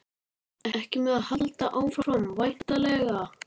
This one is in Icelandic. Þá hlógu mannræningjarnir og fóru af vettvangi.